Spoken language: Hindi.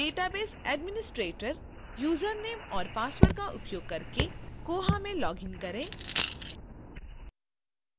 database administrator username और password का उपयोग करके koha में लॉग इन करें